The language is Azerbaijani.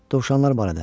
Dovşanlar barədə?